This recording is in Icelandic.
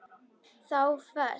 Þá fæst